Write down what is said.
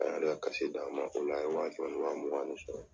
A y'a ka di an ma .O la an ye wa kɛmɛ ni wa mugan de sɔrɔ.